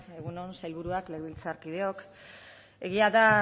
egun on sailburuak legebiltzarkideok egia da